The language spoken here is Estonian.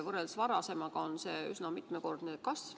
Võrreldes varasemaga on see üsna mitmekordne kasv.